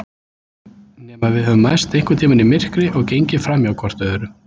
Nema við höfum mæst einhvern tíma í myrkri og gengið framhjá hvort öðru.